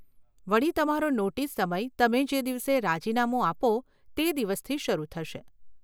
વળી, તમારો નોટીસ સમય તમે જે દિવસે રાજીનામું આપો તે દિવસથી શરુ થશે.